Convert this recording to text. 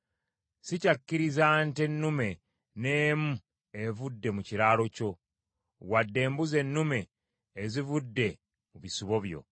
Sikyakkiriza nte nnume n’emu evudde mu kiralo kyo, wadde embuzi ennume ezivudde mu bisibo byo.